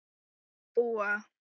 að búa.